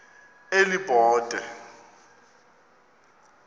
elibode